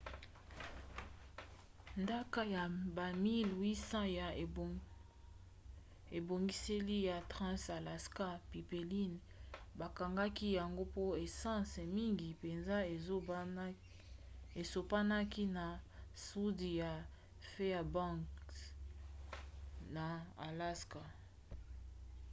ntaka ya bamiles 800 ya ebongiseli ya trans-alaska pipeline bakangaki yango mpo essence mingi mpenza esopanaki na sudi ya fairbanks na alaska